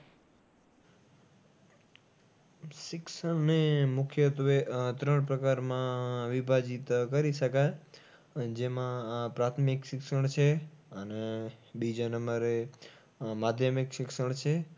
શિક્ષણને મુખ્યત્વે આહ ત્રણ પ્રકારમાં વિભાજીત કરી શકાય. જેમાં પ્રાથમિક શિક્ષણ છે અને બીજા નંબરએ આહ માધ્યમિક શિક્ષણ છે